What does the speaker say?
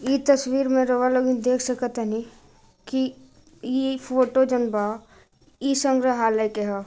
ई तस्वीर में रऊआ लोगन देख सक तानी की ई फोटो जनबा ई संग्रहालय के ह।